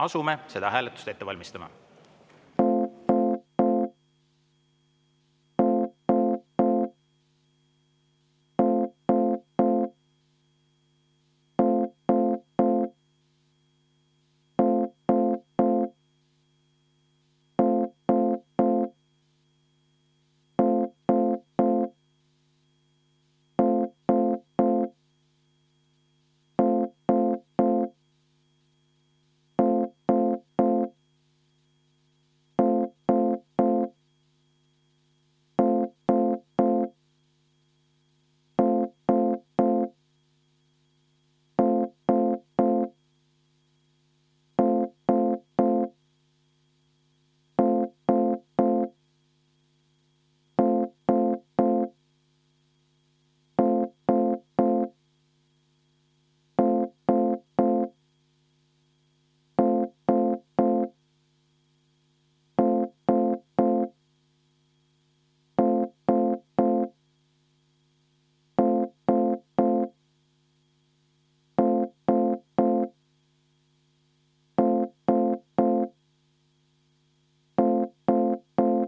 Asume seda hääletust ette valmistama.